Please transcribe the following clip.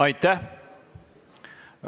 Aitäh!